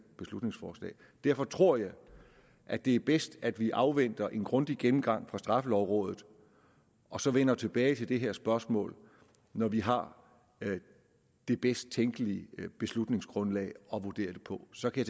beslutningsforslag derfor tror jeg at det er bedst at vi afventer en grundig gennemgang fra straffelovrådet og så vender tilbage til det her spørgsmål når vi har det bedst tænkelige beslutningsgrundlag at vurdere det på så kan